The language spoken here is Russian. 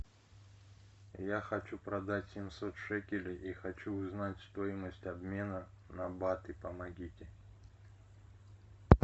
я хочу продать семьсот шекелей и хочу узнать стоимость обмена на баты помогите